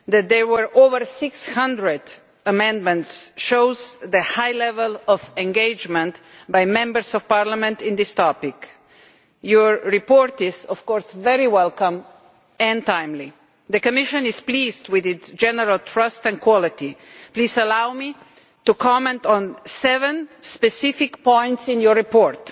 The fact that there were over 600 amendments shows the high level of engagement by Members of Parliament on this topic and the report is of course very welcome and timely. The Commission is pleased with its general thrust and quality. Please allow me to comment on seven specific points in that report.